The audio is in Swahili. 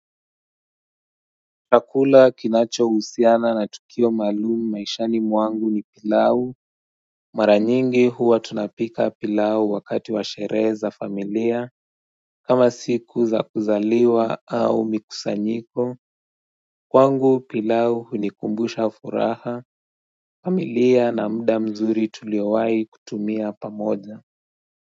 Chaula kinacho husiana na tukio maalumu maishani mwangu ni pilau, mara nyingi huwa tunapika pilau wakati washere za familia, kama siku za kuzaliwa au mikusanyiko, kwangu pilau hunikumbusha furaha, familia na mda mzuri tuliwahi kutumia pamoja.